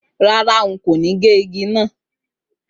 Rárá, n kò ní gé igi náà